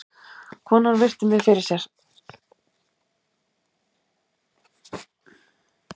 Konan virti mig fyrir sér.